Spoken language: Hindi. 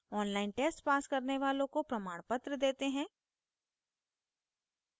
online test pass करने वालों को प्रमाणपत्र देते हैं